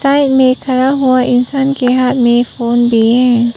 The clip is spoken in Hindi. साइड में खड़ा हुआ इंसान के हाथ में फोन भी है।